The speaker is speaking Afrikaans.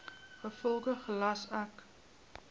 gevolglik gelas ek